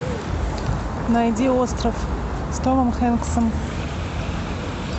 найди остров с томом хэнксом